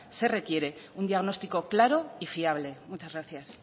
se requiere un diagnóstico claro y fiable muchas gracias